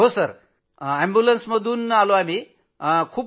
हो साहेब रूग्णवाहिकेतनं